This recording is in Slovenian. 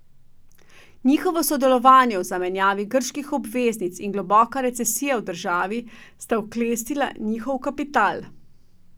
Njihovo sodelovanje v zamenjavi grških obveznic in globoka recesija v državi sta oklestila njihov kapital.